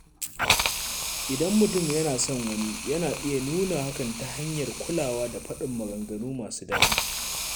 Idan mutum yana son wani, yana iya nuna hakan ta hanyar kulawa da faɗin maganganu masu daɗi.